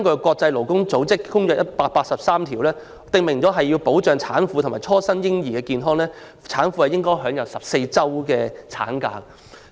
國際勞工組織第183號公約訂明，要保障產婦和初生嬰兒的健康，產婦便應享有14周產假。